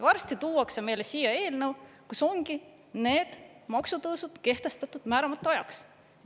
Varsti tuuakse meile siia eelnõu, kus ongi need maksutõusud kehtestatud määramata ajaks.